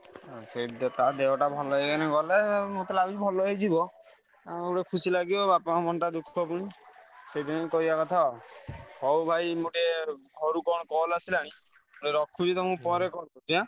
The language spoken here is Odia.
ହଁ ସେଇତ ତା ଦେହଟା ଭଲ ହେଇଗଲେ ଗଲା ମତେ ଲାଗୁଛି ଭଲ ହେଇ ଯିବ ଆଉ ଗୋଟେ ଖୁସି ଲାଗିବ ବାପାଙ୍କ ମନଟା ଦୁଃଖ ପୁଣି ସେଇଥିପାଇଁ କହିଆ କଥା ଆଉ ହଉ ଭାଇ ମୁଁ ଟିକେ ଘରୁ କଣ call ଆସିଲାଣି ମୁଁ ଟିକେ ରଖୁଛି ତମୁକୁ ପରେ call କରୁଛି ଆଁ?